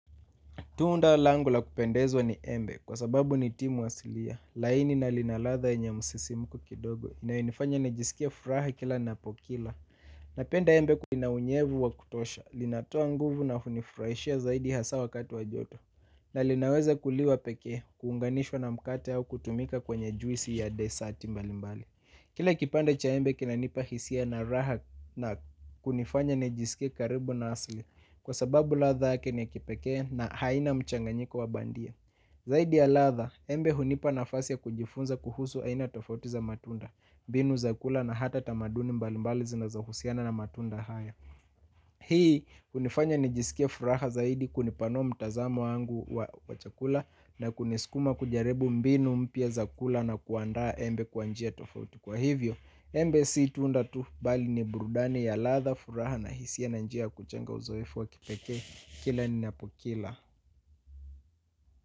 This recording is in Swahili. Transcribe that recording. Tunda langu la kupendezwa ni embe kwa sababu ni timu wasilia, laini na lina ladha yenye msisimko kidogo, inayenifanya nijisikie furaha kila ninapokila. Napenda embe linaunyevu wa kutosha, linatua nguvu na hunifurahishia zaidi hasa wakati wajoto, na linaweza kuliwa pekee, kuunganishwa na mkate au kutumika kwenye juisi ya desati mbali mbali. Kila kipande cha embe kinanipa hisia na raha na kunifanya nijisike karibu na asli kwa sababu latha ni ya kipekee na haina mchanganyiko wa bandia. Zaidi ya latha embe hunipa nafasi kujifunza kuhusu haina tofautiza matunda, mbinu za kula na hata tamaduni mbali mbali zinazo husiana na matunda haya. Hii kunifanya nijisikie furaha zaidi kunipanua mtazamo wangu wa chakula na kunisukuma kujaribu mbinu mpiya za kula na kuanda embe kwa njia tofauti kwa hivyo embe si tunda tu bali ni burudani ya latha furaha na hisia na njia kujenga uzoefu wa kipekee kila ni napokila.